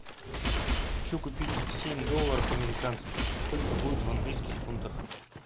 хочу купить семь долларов американских сколько будет в английских фунтах